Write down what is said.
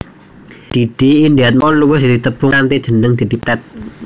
Didi Indiatmoko luwih ditepungi kanthi jeneng Didi Petet